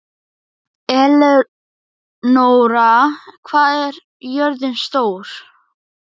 Elenóra, hvað er jörðin stór?